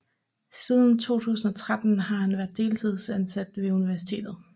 Siden 2013 har han været deltidsansat ved universitetet